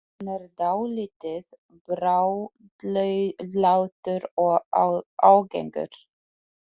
Hann er dálítið bráðlátur og ágengur.